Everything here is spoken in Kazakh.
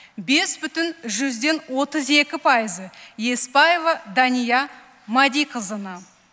бес бүтін жүзден отыз екі пайызы еспаева дания мадиқызына